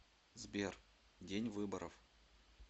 сбер день выборов